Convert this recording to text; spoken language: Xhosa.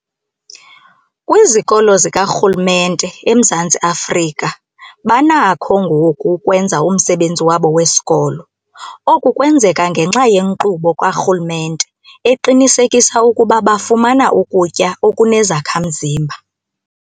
Kwizikolo zikarhulumente eMzantsi Afrika banakho ngoku ukwenza umsebenzi wabo wesikolo. Oku kwenzeka ngenxa yenkqubo karhulumente eqinisekisa ukuba bafumana ukutya okunezakha-mzimba.